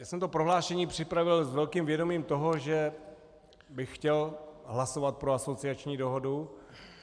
Já jsem to prohlášení připravil s velkým vědomím toho, že bych chtěl hlasovat pro asociační dohodu.